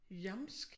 Jamsk